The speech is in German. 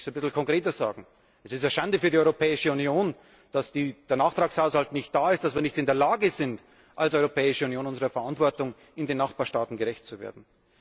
Ich möchte es etwas konkreter sagen Es ist eine Schande für die Europäische Union, dass der Nachtragshaushalt nicht da ist, dass wir nicht in der Lage sind, als Europäische Union unserer Verantwortung in den Nachbarstaaten gerecht zu werden.